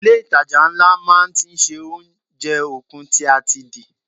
Ilé itàjà ńlá máa ti ṣe oúnjẹ okun tí a ti di.